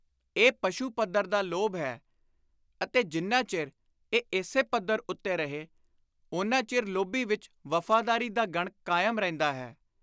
ਇਹ ਪਸ਼ੂ ਪੱਧਰ ਦਾ ਲੋਭ ਹੈ ਅਤੇ ਜਿੰਨਾ ਚਿਰ ਇਹ ਇਸੇ ਪੱਧਰ ਉੱਤੇ ਰਹੇ, ਓਨਾ ਚਿਰ ਲੋਭੀ ਵਿਚ ਵਫ਼ਾਦਾਰੀ ਦਾ ਗਣ ਕਾਇਮ ਰਹਿੰਦਾ ਹੈ।